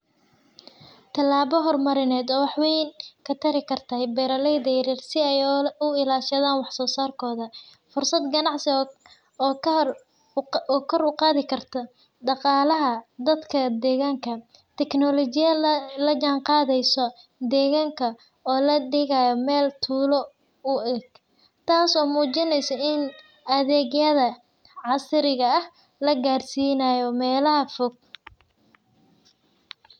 Talaba oo horumarineed oo wax weyn katari kartaa beraleyda yaryar si ay kor uguqadan wax sosarkoda, fursad ganacsi oo kor uqadi karto daqalaha dadka deganka , teknolojia lajanqadeyso deganka oo ladigayo mel tulo uek, tas oo mujineyso in adegyaha casriga ah lagarsinayo melaha fog.